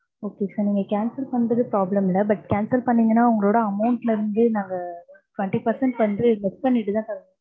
okay sir நீங்க cancel பண்றது problem இல்ல. but cancel பண்ணீங்கன்னா உங்களோட amount ல இருந்து நாங்க, twenty percent வந்து less பன்னிட்டு தான் sir தருவோம்.